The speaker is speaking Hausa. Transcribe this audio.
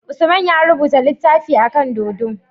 Usman ya rubuta litafin akan dodo